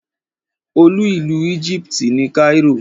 Olú ìlú Egypt ni Cairo.